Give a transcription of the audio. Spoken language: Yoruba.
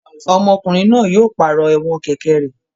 Ọmọkùnrin náà yóò pàrọ̀ ẹ̀wọ̀n kẹ̀kẹ́ rẹ̀.